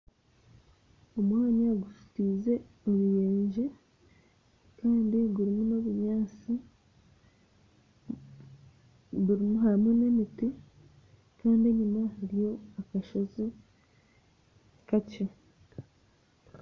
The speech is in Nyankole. Omwanya oguzitiize oruyenje kandi gurimu n'obunyansi gurimu hamwe n'emiti kandi enyuma hariyo akashozi kakye